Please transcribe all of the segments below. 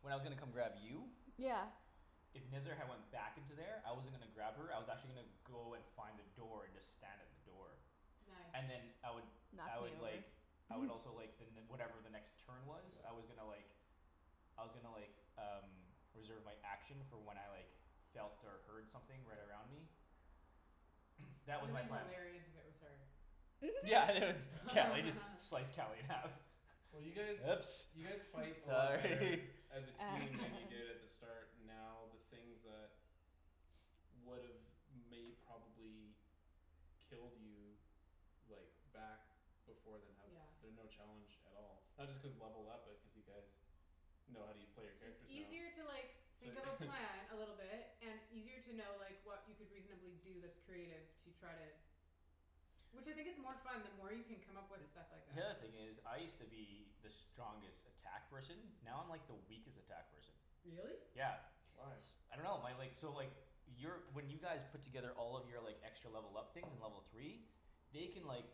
When I was gonna come grab you Yeah If Nezzar had went back into there I wasn't gonna grab her I was actually gonna Go and find a door and just stand at the door. Nice And then I would I Knock would like me over. I would also like the ne- whatever the next turn was Yeah I was gonna like I was gonnna like um Reserve my action for when I like felt or heard something right Right around me. That That was would've my plan. hilarious if it was her. Yeah it was Cali just slice Cali in half. Well you Oops guys you guys fight a lot sorry better As a team than you did at the start And now the things that Would've may probably Killed you Like back before then have Yeah. been no challenge at all. Not just cause levelled up but cuz you guys Know how u- play your It's characters now easier to like So think of a plan a little bit And easier to know like what you could reasonably do that's creative to try to Which I think it's more fun the more you can come up with stuff like The that. other thing is I used to be the strongest attack person Now I'm like the weakest attack person. Really? Yeah. Why? I dunno my like so like Your when you guys Put together all of your like extra level up things in level three They can like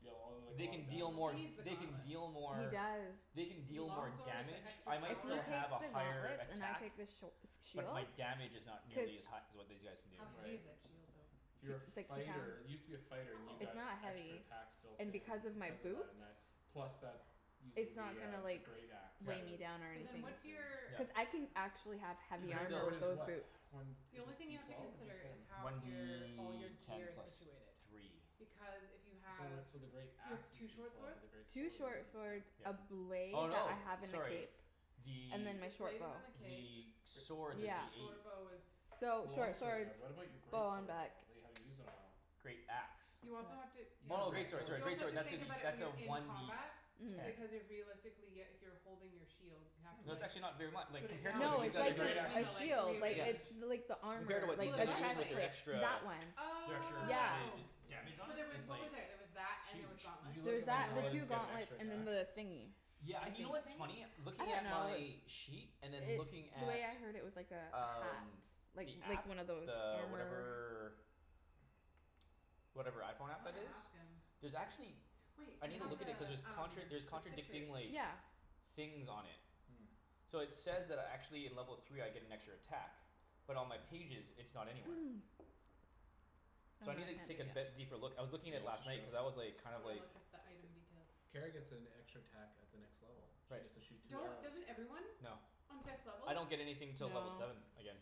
Deal all like a They lot of can deal He more needs damage. the they can gauntlets. deal He more does. They can With the deal long more sword with the damage extra If I he might takes power the still have a higher gauntlets and I attack take the sh- the shield But my damage is not nearly as Cuz hi- as what these guys can do. How heavy is that Right shield though? It's Your it's like two fighter pounds you used to be a fighter and you Oh It's not got extra heavy. attacks Built And in because of my because of that boots and that plus that Using It's not the gonna uh the like great axe Was Yeah. weigh me was down or So a then anything. big what's your Yeah. thing. Cuz I can actually have Your heavy But great armor still swords with is those what? boots. One The is only it thing you D have to twelve or D consider is ten? how One your all your D ten gear is plus situated. three. Because if you So have when so the great you have axe two is D short twelve but swords the great Two sword is only short D swords, ten Yeah. a blade Oh that no, I have in the sorry. cape The And then my The short blade bow. is in the cape. the Gr- swords are D Yeah The eight. short bow is The So long short swords are, swords, but what about your bow great on sword back. though? That you haven't used in a while? Great axe. You also have to You yeah have a Oh great okay. great sword sorry sword. You also great have sword to that's a think D about it when that's a you're in one D combat ten. Mhm. Because you're realistically uh if you're holding your shield You have Hmm to It's not like actually not very mu- like put it compared to down what Well No to the these use it's guys g- the the are like great doing other or now. you axe a know is like shield like Yeah. rearrange. it's bigger. The like the Compared to armor what Oh these like the the guys are doing like breastplate they're chestplate extra That one. The extra Yeah. Oh added Yeah. Damage on So it there was it's what was like there? There was that and there was Huge. Did gauntlets, you There look was at when and that there the was paladins two get an gauntlets extra and then attack? the thingy Yeah A and you know what what's thing? funny? I Looking don't at know my Sheet and then looking It the at way I heard it was like a hat. Um Like the like app one of those the armor whatever Whatever iPhone I app wanna that is? ask him There's actually Wait I I needa have look at the it cuz there's um contra- there's the pictures. contradicting like Yeah Things on it. Hmm So it says that I actually in level three I get an extra attack. But on my pages it's not anywhere. So No I no needa I take can't be- yeah. deeper look. I was looking at it last night cuz I was like kind I of wanna like look at the item details. Kara gets an extra attack at the next level. She Right. gets to shoot two Don't arrows. doesn't everyone? No. On fifth level? I don't get anything till No level seven again.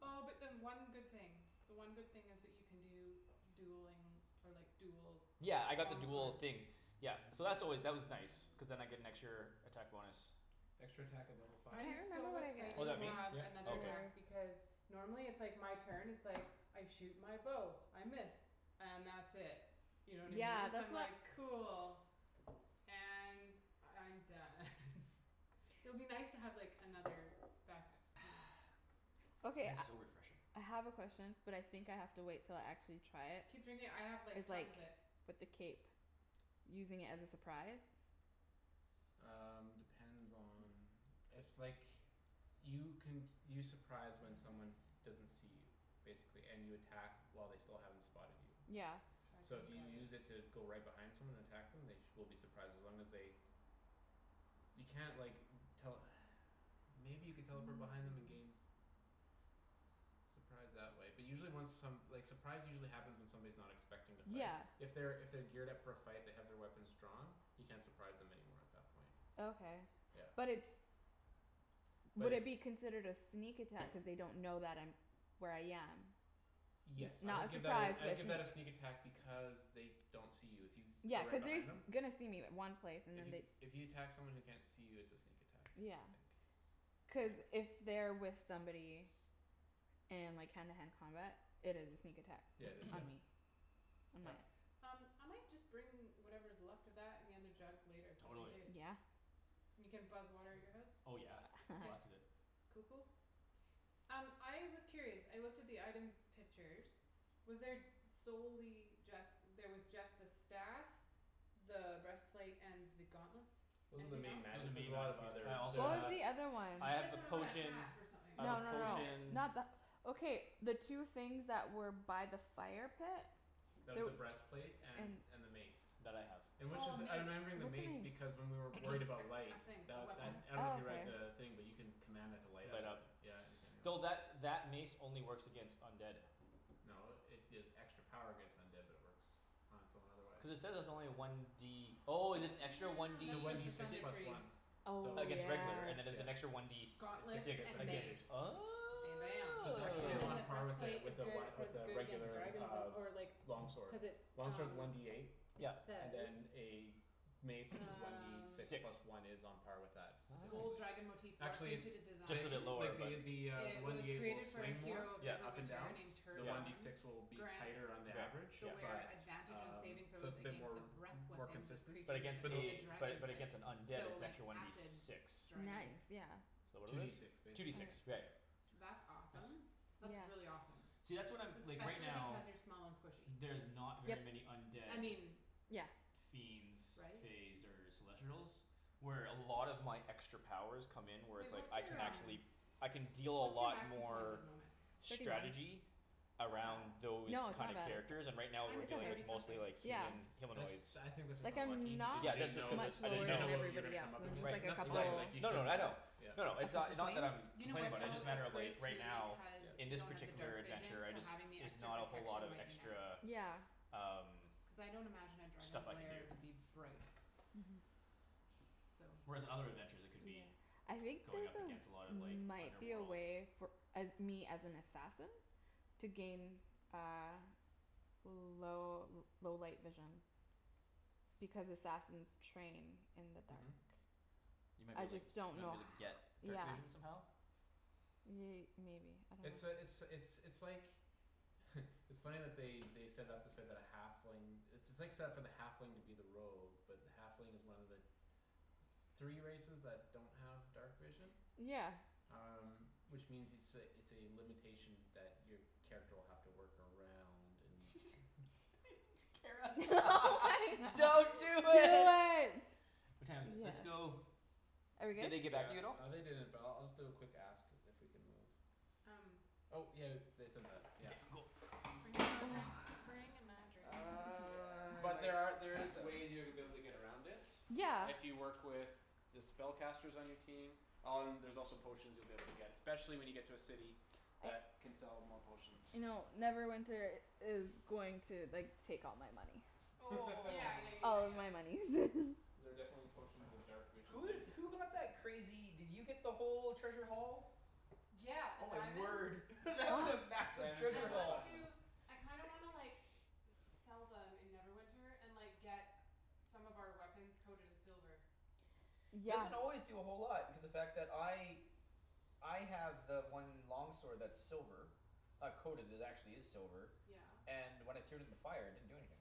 Oh but then one good thing. The one good thing is that you can do dueling or like dual Yeah I got the long sword dual thing Yeah so that's always that was nice. Cuz then I get an extra attack bonus. Extra attack at level I five. I'm remember so what I get Oh excited is to that me? have Yep Oh another okay. attack For because Normally it's like my turn it's like I shoot my bow, I miss. And that's it. You know what I Yeah mean? So I'm that's what like cool. And I'm done It'll be nice to have like another back up you know Okay That is I so refreshing. I have a question but I think I have to wait until I actually try it Keep drinking I have Is like like tons of it. with the cape Using it as a surprise? Um depends on if like You can s- you surprise when someone Small doesn't see you Basically, and you attack while they still haven't spotted you. Yeah So Dragon if you guard use it to go right behind someone and attack them they sh- will be surprised as long as they You can't like tell Maybe you could teleport behind them and gain s- Surprise that way but usually when some like surprise usually happens when someone's not expecting to fight. Yeah If they're if they're geared up for a fight they have their weapons drawn You can't surprise them anymore at that point. Okay Yeah but it's But would if it be considered a sneak attack cuz they don't know that I'm where I am It's Yes I not would a give that surprise a I would but give that a a sneak sneak attack because They don't see you if you Yeah go right cuz they're behind s- them. gonna see me in one place and then they If you if you attack someone who can't see you it's a sneak attack I Yeah think. cuz if they're with somebody And like hand to hand combat it is a sneak attack Yeah just on that me. On my Yep Um I might just bring whatever's left of that and the other jug later, just in Totally. case. Yeah And you can buzz water at your house? Oh yeah, Okay. lots of it. Cool cool. Um I was curious, I looked at the item pictures Was there solely just there was just the staff The breastplate and the gauntlets? Those are the Anything else? main magi- Those as are main we'll magic have other I there's What also was have the the other one? She I have said the something about a potion hat or something. I No have a A no no helmet potion not the okay the two things that were by the fire pit? That was There the breastplate and and and the mace. That I have. And which Oh a is I'm mace. remembering the What's mace a because mace? when we were worried about light A thing, a The weapon. that I dunno if Oh you read okay the thing but you can Command that to light up Light and you up. c- yeah you turn it Though that on. that mace only works against undead. No it gives extra power against undead but it works on its own otherwise. Cuz it says it's only one D Oh is it extra one Damn D It's a that's one worth D for six? six Thunder plus Tree. one. Oh So Against regular and then there's an yeah. extra one yes D And s- Gauntlets sixty six and percent against mace. Oh Bam bam So it's actually And then on the part with breastplace is a good, it one says with a good against regular dragons uh or like Long Cuz it's sword. Long sword's um one D eight It Yep and says then a Mace which is one D Um six Six. plus one is on par with that, Gold statistically. Nice. dragon motive Actually it's into the design. Just a t- bit lower like but. the The uh the It one was D eight will created for a swing more hero of Yep up and Neverwinter named down The one D yep Tergon. six will be Grants tighter on the average. the Yeah yeah. wearer But Advantage on saving um so throws it's a bit against the more breath More Weapons of consistent but But creatures against of the a the dragon but type. against an undead So it's like actually one D acid six. dragons. Nice yeah So what Two are D these? six Two D six. basically, Right. yeah. That's It's Tense. awesome. That's Yeah really awesome. See that's what I'm like right Especially now because you're small and squishy. There's not very Yep many undead I mean yeah fiends right? Faes or celestrials Where a lot of my extra powers come in where it's Wait like what's I can your um actually I can deal a What's your lot max hit points at more the moment? Thirty nine Strategy That's not Around bad those No it's kind of not bad characters it's and right I now mean we're Mine's still it's dealing with thirty not bad something. mostly it's like okay yeah Human That's humanoids. I think that's just Like I'm unlucky because not you Yeah didn't that's just know cuz it much I lower You didn't didn't than know know what you were everybody gonna else. come up It's just Right against. like And a that's couple fine exactly. like you No no no shouldn't I know. have. Yeah. A No couple no, it's points. uh not that I'm You know Complaining what about it, though? just a It's matter of like great right too now because Yeah. In you this don't have the particular dark vision, adventure, I so just having the Is extra not a whole lot protection of might be extra nice. Yeah Um Cuz I don't imagine a dragon's Stuff I can lair to be do bright. Mhm So Whereas in other adventures I could Yeah be I think going there's up a against a lot of like might be a underworld. way for uh me as an assassin To gain uh L- low low light vision Because assassins train in the Mhm dark. You might be I able to like just don't might know be able to h- get yeah dark vision somehow? Ye- maybe I It's uh it's dunno it's it's like It's funny that they they set it up this way but a halfling It's it's like set up for the halfling to be the rogue but the halfling is one of the Three races that don't have dark vision. Yeah Um which means it's a it's a limitation that your Character will have to work around and Kara Don't do it. What time is it? Let's Yes Yes go Are we Did good? they get back to you at Yeah all? uh they didn't but I'll just do a quick ask. If we can move. Um Oh yeah they said that Okay yeah cool Bringing my drink. Bringing my drink. Uh I'm But like there are there is passed out. ways to be able to get around it. Yeah If you work with The spellcasters on your team Um there's also potions you'll be able to get Specially when you get to a city. I That can sell more potions. I know Neverwinter is going to like take all my money. Oh Yeah yeah yeah yeah All of yeah. my monies Cuz there are definitely potions of dark vision Who so you did who got that crazy did you get the whole treasure haul? Yeah, the Oh my diamonds word that was a massive Diamonds I and treasure the haul. want to platinum. I kinda wanna like Sell them in Neverwinter and like get Some of our weapons coated in silver. Yeah Doesn't always do a whole lot because the fact that I I have the one long sword that's silver. Not coated, it actually is silver. Yeah. And when I threw it in the fire it didn't do anything.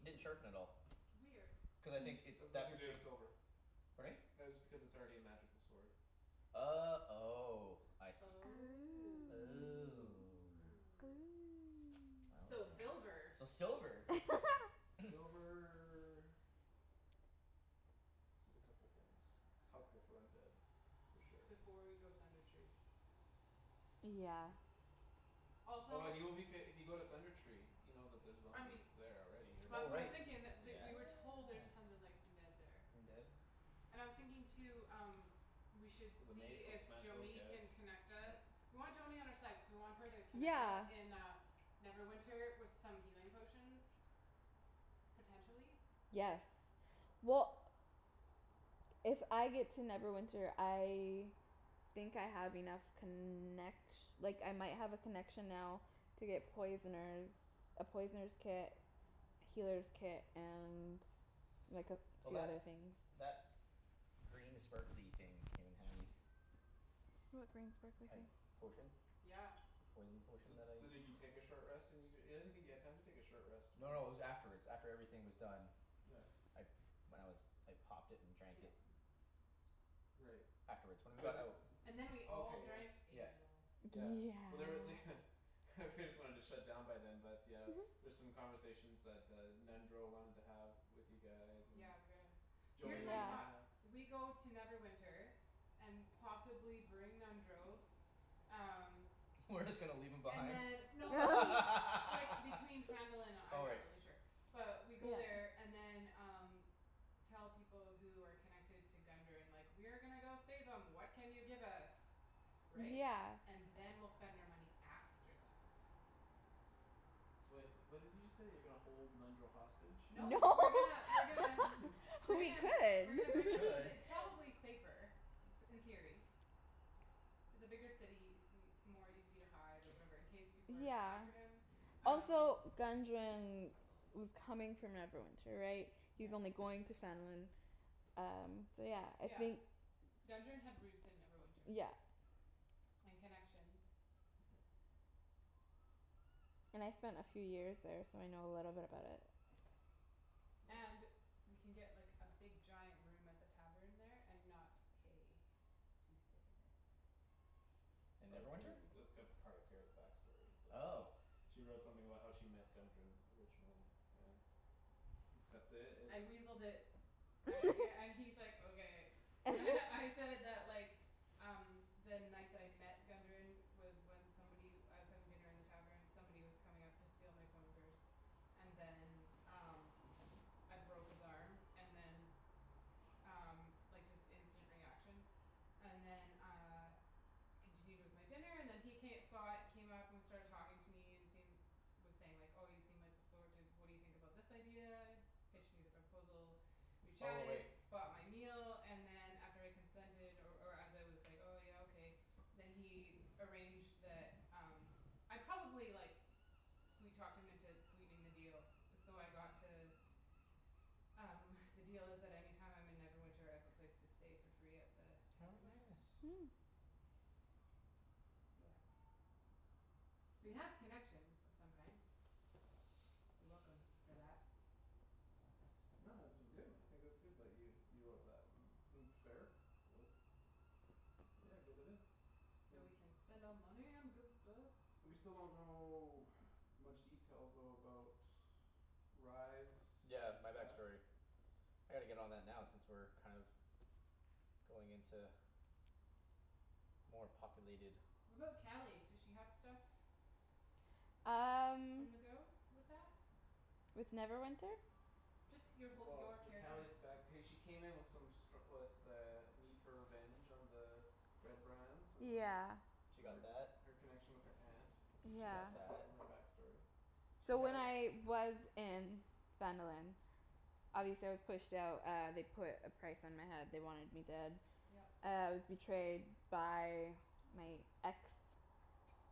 Didn't sharpen at all. Weird. Cuz I think it's That's deft nothing or to do with silver. Pardon me? That is because it's already a magical sword. Oh oh I see. Oh Oh oh. So Well then. silver. So silver. Silver Does a couple things. It's helpful for undead for sure. Before we go Thunder Tree. Yeah Also Oh and you will be fa- if you go to Thunder Tree You know that there's I mean zombies there already or Oh That's what I was right, yeah. thinking that th- we were told there's tons of like undead there. Undead? And I was thinking too um We should So the see mace will if smash those Joany guys. can connect us Yep. We want Joany on our side cuz we want her to connect us Yeah in uh Neverwinter with some healing potions. Potentially. Yes well If I get to Neverwinter I Think I have enough connec- Like I might have a connection now To get poisoner's A poisoner's kit Well that Healer's kit and like a few that other things. green sparkly thing came in handy. What green sparkly Uh thing? potion. Yeah The poison potion So that I so did you take a short rest and use your I didn't think you had time to take a short rest No when no it was afterwards. After everything was done. Yeah I when I was I popped it and drank Yep it. Right. Afterwards when we got But out And then we did all drank okay yeah. Yeah. ale. Yeah Yeah but there're they They just wanted to shut down by them but yeah There's some conversations that uh Nundro wanted to have with you guys and Yeah we gotta here's Joany my wanted to thought. have. Yeah We go to Neverwinter. And possibly bring Nundro Um We're just gonna leave him And behind? then no but he like between Phandalin and uh I'm Oh not right. really sure But we go Yeah there and then um Tell people who are connected to Gundren like, "We are gonna go save 'em, what can you give us?" Right? Yeah And then we'll spend our money after that. So wait, what did you just say? You're gonna hold Nundro hostage? No No we're gonna we're gonna Bring We him we're gonna We could bring him cuz could. it's probably safer in theory It's a bigger city. It's ea- more easy to hide or whatever in case people are Yeah after him um Also Gundren was coming from Neverwinter right? He Yeah was only going to Phandalin Um so yeah I Yeah. think Gundren had roots in Neverwinter. Yeah And connections. Mhm And I spent a few years there so I know a little bit about it. And Nice we can get like a big giant room at the tavern there and not pay to stay It's In part of Kara's Neverwinter? it's cu- there part of Kara's back story is the Oh host She wrote something about how she met Gundren originally, and Accept it, I it's weaseled it I yeah and he's like, "Okay." And I said that like Um the night that I met Gundren Was when somebody I was having dinner in the tavern, somebody was coming up to steal my coin purse. And then um I broke his arm and then Um like just instant reaction And then uh Continued with my dinner and then he ca- saw it came up started talking to me and seen Was saying like, "Oh you seem like the sort to what do you think about this idea?" Pitched me the proposal We Oh chatted, right. bought my meal, and then And after I consented or or as I was Like, "Oh yeah okay", then he Arranged the um I probably like Sweet talked him into sweetening the deal, so I got to Um the deal is that any time I'm in Neverwinter I have a place to stay for free at the Oh tavern there nice. Yeah So we Cool have connections of some kind. You're welcome for that. No this is good. I think it's good that you you wrote that. It seemed fair, so. Yeah get it in. So we W- can spend our money on good stuff. We still don't know much details though about Rye's Yeah my past. backstory. I gotta get on that now since we're kind of Going into More populated. What about Cali? Does she have stuff? Um On the go with that? With Neverwinter? Just your whole your Well the character's Cali's back hey she came in with some stru- With a need for revenge on the Red Brands and Yeah She got that. Her her connection with her aunt. She Is got Yeah something that. from her back story. She So when had I was in Phandalin Obviously I was pushed out uh they put a price on my head they wanted me dead. Yep Uh I was betrayed by my ex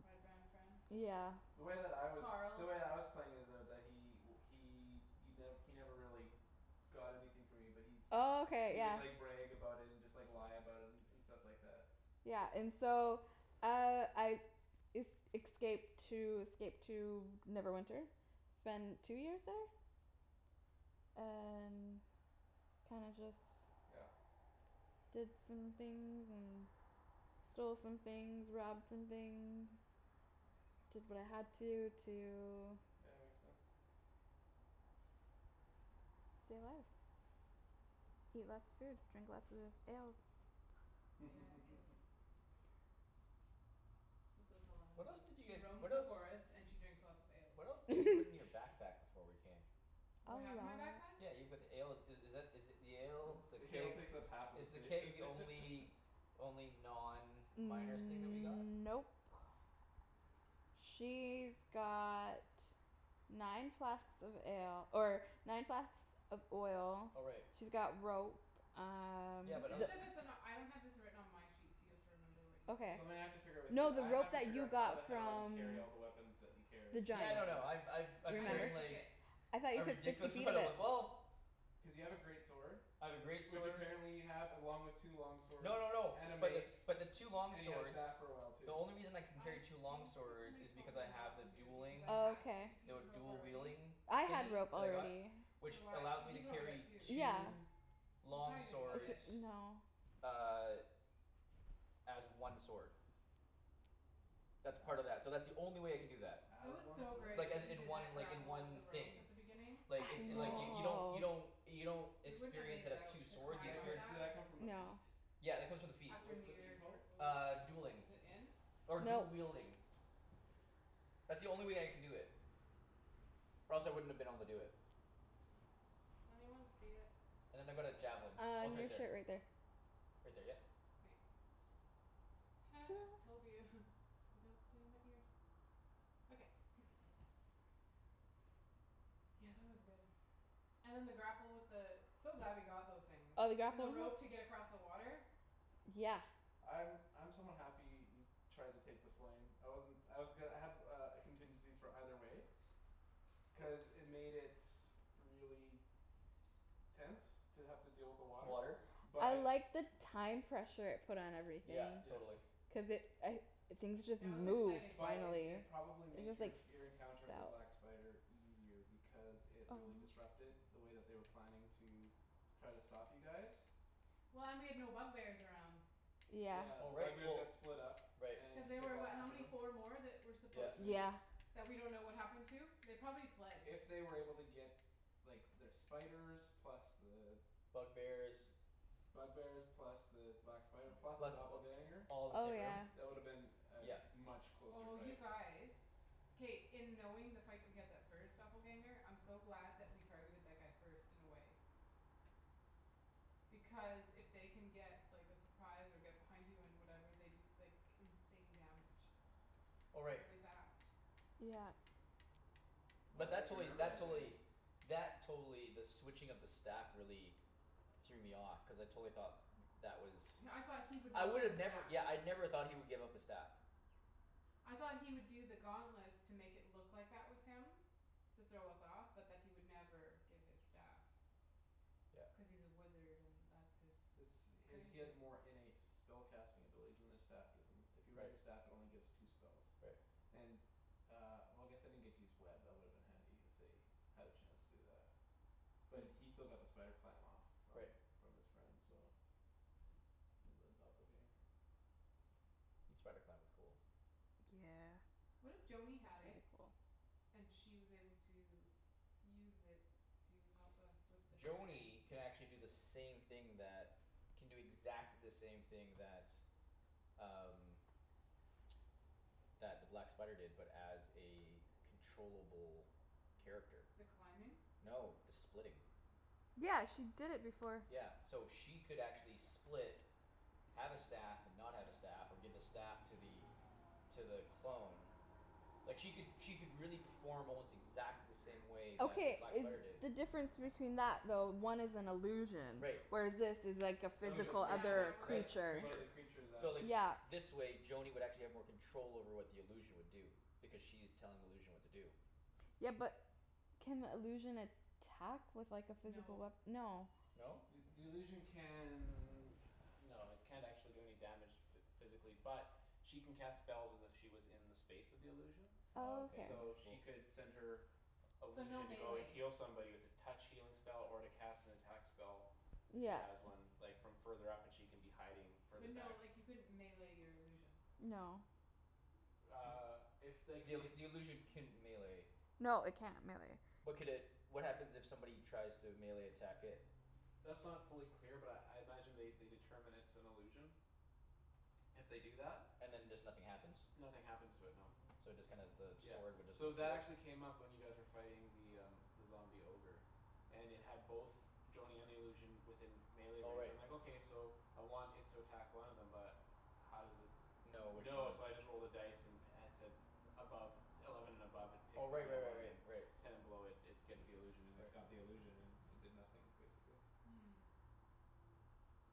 Red Brand friend? Yeah The way that I was the Carl way I was playing is though that he he y- he never really Got anything from me but he he Okay He would yeah like brag about it and just lie about it and And stuff like that Yeah but and so uh I Es- excaped to escaped to Neverwinter Spend two years there And kinda just Yeah Did some things and stole some things, robbed some things. Did what I had to to Yeah makes sense. Stay alive Eat lots of food drink lots of ales Yeah, ales It's what Velana What else does. did you She guys roams what the else forest and she drinks lots of ales. What else did you put in your backpack before we came? What A do I have in my lot backpack? Yeah you put the ale i- is that is it the ale The The ale keg takes up half of the is the space keg the only Only non miner's thing that we got? Nope She's got nine flasks of ale or nine flasks of oil Oh right. She's got rope um Yeah Is but this the other stuff that's in a I don't have this written on my sheet so you have to remember what you put Okay in. Something I have to figure out with you. No the I have rope to that figure you out how the got hell you from carry all the weapons that you the carry. A Yeah giant no no limit. I'm I've I'm I never carrying remember? took like it. I thought A you took ridiculous fifty feet amount of of w- it? well Cuz you have a great sword. I have a great Which sword apparently you have along with two long swords No no no and a but the mace. but the two long And you had a swords staff for a while The too. only reason I can I carry two long think that swords somebody is told because me I not have a to because dueling I had Okay fifty The feet of w- rope dual already wielding I had thingy rope that I got Yeah. already So Which do I. allows me He to he probably does carry too. Yeah two So we Long probably Oh didn't need it. s- swords no Uh As one sword. That's part of that. So that's the only way I can do that. That As was one so sword? great Like uh that you in did one that like in grapple with the one rope thing. at the beginning Like it it like y- Oh you don't you I know don't You don't We wouldn't have made experience it it as out two to Did swords, you that climb c- up experience did that that. come from a feat? No Yeah it comes with the feat. After What's the near feat dr- called? oh. Uh dueling. Is it in? Or dual Nope wielding. That's the only way I can do it. Or else I wouldn't have been able to do it. Does anyone see it? And then I've got a javelin. Uh Oh it's on right your there. shirt right there Right there yep Thanks Told you, they don't stay in my ears. Okay Yeah that was good. And then the grapple with the So glad we got those things. Oh we got And the rope to get across the water. Yeah I'm I'm somewhat happy he Tried to take the flame. I wasn't I was go- I had uh contingencies for either way Cuz it made it really Tense to have to deal with the Water water I But liked the time pressure it put on everything. Yeah Yeah totally. Cuz it I things just That was moved exciting. But it finally it probably I made guess your like Your encounter with the felt black spider easier Because it really disrupted the way that they were planning to Try to stop you guys Well and we had no bug bears around. Yeah Yeah Oh the bug right bears well got split up right Cuz And you they took were out what how half of many? them Four more? That were Yeah supposed There's three to more. Yeah That we don't know what happened to? They probably fled. If they were able to get Like their spiders plus the Bug bears Bug bears plus the black spider plus the Plus th- doppelganger all the Oh same room yeah That woulda been Yep A much closer Oh you fight. guys. K, in knowing the fight that we had that first doppelganger I'm so glad that we targeted that guy first in a way. Because if they can get like a surprise and get behind you and whatever they can do like insane damage. Oh right. Really fast. Yeah But Oh that you totally remember that that don't totally you? That totally the switching of the staff really Threw me off cuz I totally thought That was Yeah I thought he would I not get a would've never staff. yeah I never thought he would give up the staff. I thought he would do the gauntlets to make it look that was him To throw us off but that he would never give his staff. Yeah Cuz he's a wizard and that's his. It's That's he has he crazy. has more innate Spell casting abilities than his staff. Gives him. If you read the Right staff it only gives two spells. Right And uh well I guess they didn't get to use web, that woulda been handy if they Had a chance to do that. But he still got the spider climb off. From Right from his friend so From the doppelganger. The spider clam was cool. Yeah What It's if pretty Joany had it cool. And she was able to use it to help us with the dragon? Joany can actually do the same thing that Can do exactly the same thing that um That the black spider did but as a Controllable character. The climbing? No the splitting. Yeah she did it before. Yeah so she could actually split Have a staff and not have a staff or give a staff to the To the clone Like she could she could really perform almost exactly the same way that the Okay black is spider did. the difference between that though one is an illusion Right. Whereas this is like a That was a physical Yeah other that creature. was a Right. that was creature. One of Creature the creatures that So like Yeah this way Joany would actually have more control over what the illusion would do. Because she's telling the illusion what to do. Yeah but can illusion attack with like a physical No wea- no No? The the illusion can No it can't actually do any damage. Physically but she can cast Spells as if she was in the space of the illusion Oh Okay So okay. she cool. could send her So no Illusion to go and melee heal somebody with a Touch healing spell or to cast an attack spell. If she Yeah has one like from further up and she can be hiding further But no back like you couldn't melee your illusion. No Uh if like The ill- it the illusion can melee No it can't melee. But could it what happens if somebody tries to melee attack it? That's not fully clear but I I imagine they determine it's an illusion If they do that And then just nothing happens? Nothing happens to it no. So it just kinda the Yeah, sword would just so go through that it? actually came up when you guys were fighting the um The zombie ogre. And it had both Joany and the illusion within Melee Oh range right. I'm like okay so I want it to attack one of them but How does it No which know one? so I just rolled a dice. And at said above Eleven and above it Oh picks the right right real right one right and right. Ten and below it gets the illusion and it Right. Got the illusion and it did nothing basically.